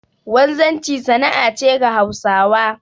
Wanzanci sana'a ce ga Hausawa